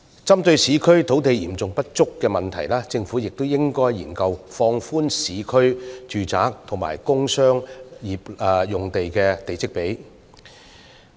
針對市區土地嚴重不足的問題，政府亦應研究放寬市區住宅和工商業用地的地積比率。